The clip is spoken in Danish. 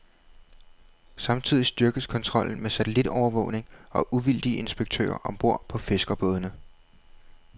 Samtidig styrkes kontrollen med satellitovervågning og uvildige inspektører om bord på fiskerbådene.